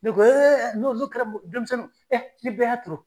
Ne ko n'o n'o kɛra denmisɛnw n'i bɛɛ y'a